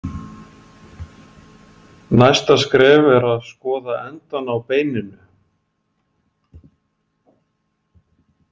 Næsta skref er að skoða endana á beininu.